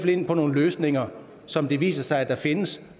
ind på nogle løsninger som det viser sig at der findes